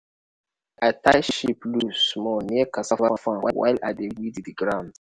i tie sheep loose-small near cassava farm while i dey weed ground.